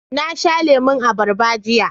Na sha lemon abarba jiya